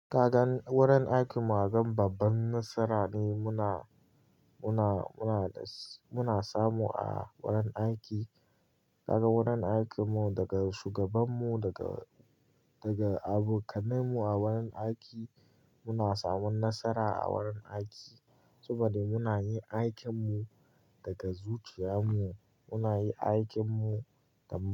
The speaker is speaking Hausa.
Kagan wurin aikinmu, agan babban nasara ne muna, muna, muna da, muna samu a wurin aiki. Kagan wurin aikinmu daga shugabanmu daga, daga abokanmu a wurin aiki muna samun nasara a wurin aiki saboda muna yin aikinmu daga zuciya mu muna yi aikinmu da.